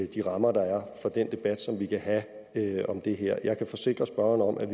de rammer der er for den debat som vi kan have om det her jeg kan forsikre spørgeren om at